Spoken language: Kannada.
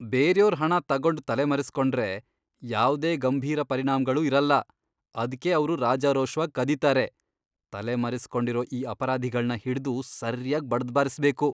ಬೇರ್ಯೋರ್ ಹಣ ತಗೊಂಡ್ ತಲೆಮರೆಸ್ಕೊಂಡ್ರೆ ಯಾವ್ದೇ ಗಂಭೀರ ಪರಿಣಾಮ್ಗಳೂ ಇರಲ್ಲ, ಅದ್ಕೇ ಅವ್ರು ರಾಜಾರೋಷ್ವಾಗ್ ಕದೀತಾರೆ. ತಲೆಮರೆಸ್ಕೊಂಡಿರೋ ಈ ಅಪರಾಧಿಗಳ್ನ ಹಿಡ್ದು ಸರ್ಯಾಗ್ ಬಡ್ದ್ಬಾರಿಸ್ಬೇಕು.